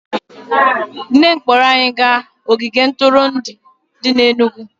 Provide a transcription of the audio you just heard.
Nne m kpọọrọ anyị gaa ogige ntụrụndụ dị n'Enugwu